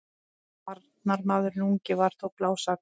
Varnarmaðurinn ungi var þó blásaklaus.